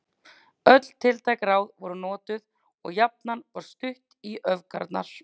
Öll tiltæk ráð voru notuð og jafnan var stutt í öfgarnar.